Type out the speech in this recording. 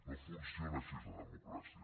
no funciona així la democràcia